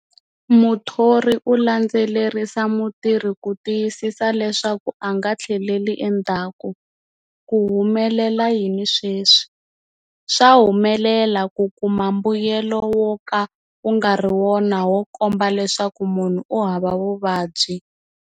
Muthori u landzelerisa mutirhi ku tiyisisa leswaku a nga tlheleli endhaku. Ku humelela yini sweswi? Swa humelela ku kuma mbuyelo woka wu ngari wona wo komba leswaku munhu u hava vuvabyi.